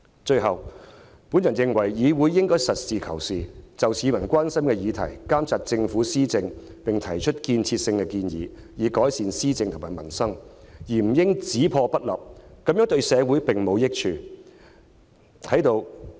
最後，我認為，議會應該實事求是，針對市民關心的議題，監察政府施政，並提出有建設性的建議，以改善施政和民生，而不應只破不立，這樣對社會並無益處。